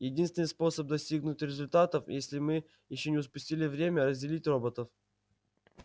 единственный способ достигнуть результатов если мы ещё не упустили время разделить роботов